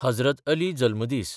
Hazrat Ali जल्मदीस